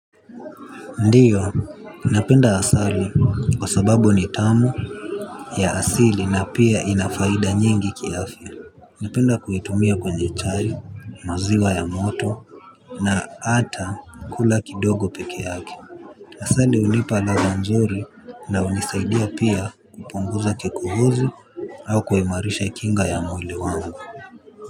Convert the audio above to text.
Ndio, napenda asali kwa sababu ni tamu ya asili na pia ina faida nyingi kiafya. Napenda kuitumia kwenye chai, maziwa ya moto, na hata kula kidogo peke yake. Asali hunipa ladha nzuri na hunisaidia pia kupunguza kikohozi au kuimarisha kinga ya mwili wangu.